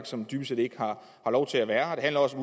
som dybest set ikke har lov til at være her det handler også